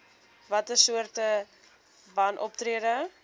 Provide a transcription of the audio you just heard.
watter soorte wanoptrede